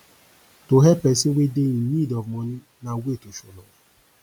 to help persin wey de in need of money na way to show love